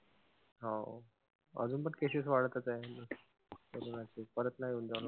हो अजून पण cases वाढतचं आहेत. असं वाटते परत नाई येऊन जावो.